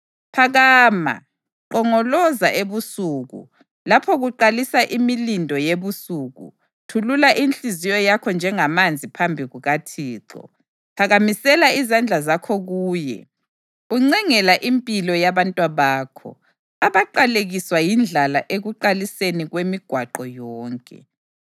Phakama, nqongoloza ebusuku, lapho kuqalisa imilindo yebusuku; thulula inhliziyo yakho njengamanzi phambi kukaThixo. Phakamisela izandla zakho kuye, uncengela impilo yabantwabakho, abaqalekiswa yindlala ekuqaliseni kwemigwaqo yonke.